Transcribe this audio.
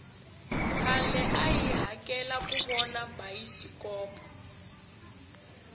khale a hi hakela kuvona bayisikpo